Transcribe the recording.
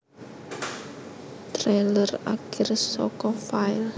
Trailer Akir saka file